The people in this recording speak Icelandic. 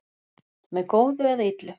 Með góðu eða illu